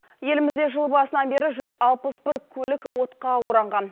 елімізде жыл басынан бері жүз алпыс бір көлік отқа оранған